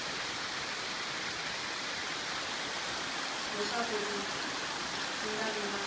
leswaku ku nga vi na